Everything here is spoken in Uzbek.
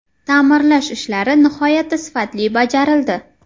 Ta’mirlash ishlari nihoyatda sifatli bajarildi.